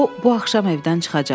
O bu axşam evdən çıxacaq.